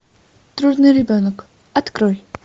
трудный ребенок открой